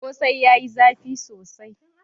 Kose yayi zafi sosai.